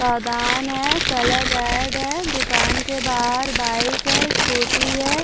है colour red है दुकान के बाहर बाइक है स्कूटी है।